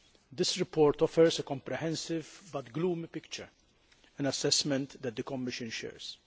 This report offers a comprehensive but gloomy picture an assessment that the Commission shares.